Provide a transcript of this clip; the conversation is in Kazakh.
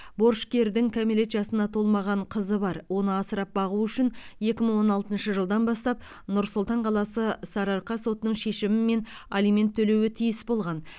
борышкердің кәмелет жасына толмаған қызы бар оны асырап бағу үшін екі мың он алтыншы жылдан бастап нұр сұлтан қаласы сарыарқа сотының шешімімен алимент төлеуі тиіс болған